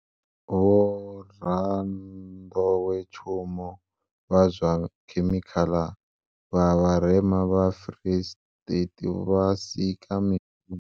Vhoranḓowetshumo vha zwa khemikhala vha Vharema vha Free State vha sika mishumo